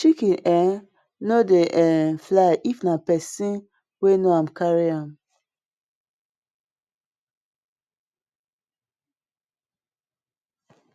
chicken um no dey um fly if na pesin wen know am carry am